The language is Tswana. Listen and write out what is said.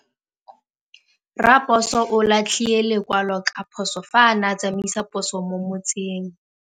Raposo o latlhie lekwalô ka phosô fa a ne a tsamaisa poso mo motseng.